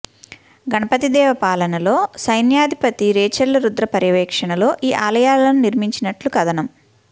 గణపతిదేవ పాలనలో సైన్యాధిపతి రేచర్ల రుద్ర పర్యవేక్షణలో ఈ ఆలయాలను నిర్మించినట్లు కధనం